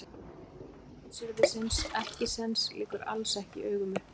Uppruni blótsyrðisins ekkisens liggur alls ekki í augum uppi.